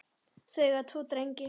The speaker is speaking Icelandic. Þau eiga tvo drengi